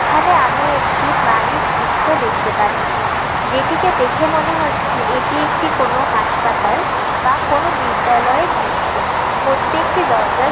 এখানে আমি একটি বাড়ির দৃশ্য দেখতে পাচ্ছি যেটিকে দেখে মনে হচ্ছে এটি একটি কোন হাসপাতাল বা কোন বিদ্যালয়ের দৃশ্য প্রত্যেকটি দরজায়।